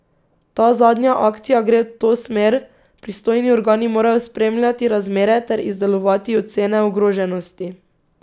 Ta zadnja akcija gre v to smer, pristojni organi morajo spremljati razmere ter izdelovati ocene ogroženosti.